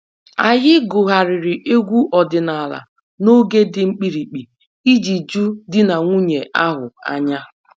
Anyị gụgharịrị egwu ọdịnala n'oge dị mkpirikpi iji ju di na nwunye ahụ anya